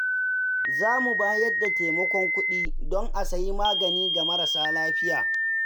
Za mu bayar da taimakon kuɗi don a sayi magani ga marasa lafiya.